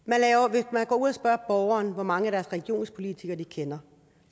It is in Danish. hvis man går ud og spørger borgeren hvor mange af deres regionspolitikere de kender